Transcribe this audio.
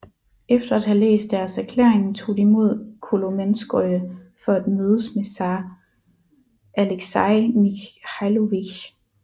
Efter at have læst deres erklæring tog de mod Kolomenskoye for at mødes med zar Alexei Mikhailovich